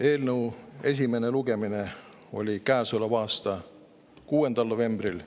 Eelnõu esimene lugemine oli käesoleva aasta 6. novembril.